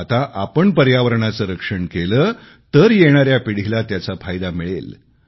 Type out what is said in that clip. आता आपण पर्यावरणाचे रक्षण केले तर येणाऱ्या पिढीला त्याचा फायदा मिळेल